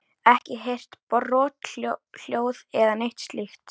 Ekki heyrt brothljóð eða neitt slíkt?